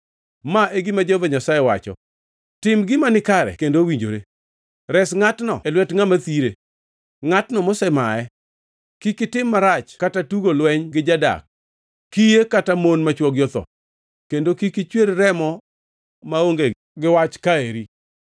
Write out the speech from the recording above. Ma e gima Jehova Nyasaye wacho: Tim gima nikare kendo mowinjore. Res ngʼatno e lwet ngʼama thire, ngʼatno mosemaye. Kik itim marach kata tugo lweny gi jadak, kiye kata mon ma chwogi otho, kendo kik ichwer remo maonge gi wach ka eri.